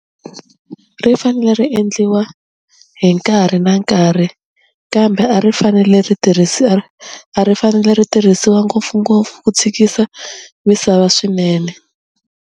Ri fanele ri endliwa hi nkarhi na nkarhi kambe a ri fanele ri tirhisi a a ri fanele ri tirhisiwa ngopfungopfu ku tshikisa misava swinene.